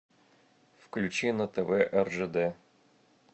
включи на тв ржд